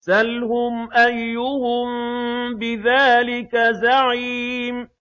سَلْهُمْ أَيُّهُم بِذَٰلِكَ زَعِيمٌ